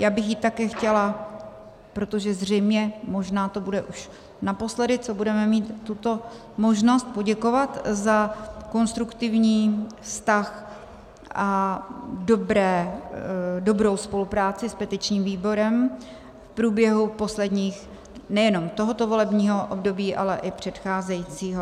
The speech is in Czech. Já bych jí také chtěla, protože zřejmě možná to bude už naposledy, co budeme mít tuto možnost, poděkovat za konstruktivní vztah a dobrou spolupráci s petičním výborem v průběhu posledních - nejenom tohoto volebního období, ale i předcházejícího.